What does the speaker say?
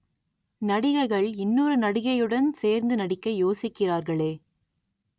நடிகைகள் இன்னொரு நடிகையுடன் சேர்ந்து நடிக்க யோசிக்கிறார்களே